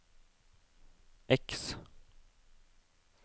X